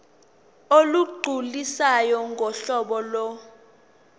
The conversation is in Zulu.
olugculisayo ngohlobo lo